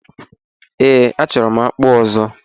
Ee, achọrọ m akpu ọzọ.